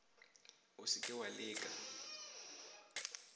o se ke wa leka